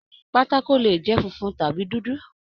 Pátákó lè jẹ funfun tàbí dúdú.